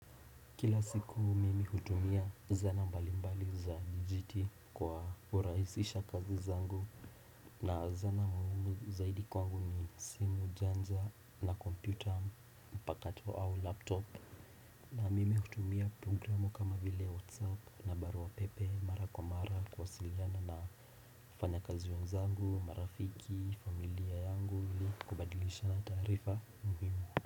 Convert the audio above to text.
Kila siku mimi hutumia zana mbali mbali za dijiti kwa urahisisha kazi zangu na zana muhimu zaidi kwangu ni simu janja na kompyuta mpakato au laptop na mimi hutumia programu kama vile whatsapp na barua pepe mara kwa mara kuwasiliana na wafanya kazi wenzangu marafiki familia yangu ili kubadilishana taarifa muhimu.